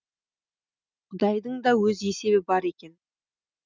құдайдың да өз есебі бар екен